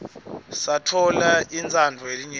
satfola intsandvo yelinyenti